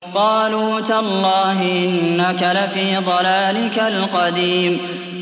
قَالُوا تَاللَّهِ إِنَّكَ لَفِي ضَلَالِكَ الْقَدِيمِ